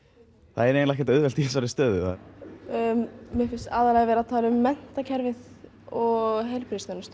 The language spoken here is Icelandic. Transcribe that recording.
það er eiginlega ekkert auðvelt í þessari stöðu mér finnst aðallega verið að tala um menntakerfið og heilbrigðisþjónustu